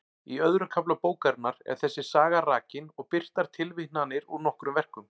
Í öðrum kafla bókarinnar er þessi saga rakin og birtar tilvitnanir úr nokkrum verkum.